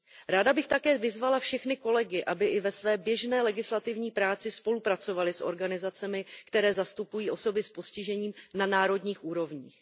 Ráda bych také vyzvala všechny kolegy, aby i ve své běžné legislativní práci spolupracovali s organizacemi, které zastupují osoby s postižením na národních úrovních.